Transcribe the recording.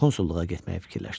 Konsulluğa getməyi fikirləşdi.